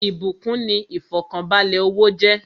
Ìbúkún kan ni ifọkanbalẹ owó jẹ́